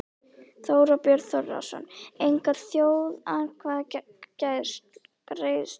Þorbjörn Þórðarson: Enga þjóðaratkvæðagreiðslu?